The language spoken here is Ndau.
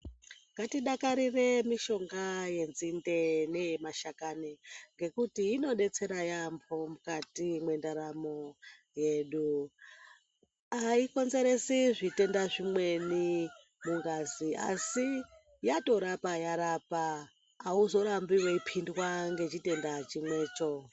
Ngatidakarire mishonga yenzinde, neyemashakani ngekuti inodetsera yaamho mukati mwendaramo yedu, ayikonzeresi zvitenda zvimweni mungazi asi yatorapa yarapa auzorambi weiphindwa ngechitenda chimwecho.